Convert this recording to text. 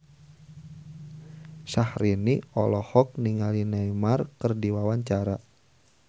Syaharani olohok ningali Neymar keur diwawancara